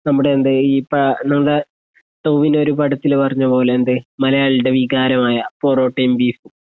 നമ്മുടെ എന്തേയ് ഈ പ നമ്മുടെ ടോവിനോ ഒരു പടത്തില് പറഞ്ഞതുപോലേ എന്തേയ് മലയാളികളുടെ വികാരമായ പൊറോട്ടയും ബീഫും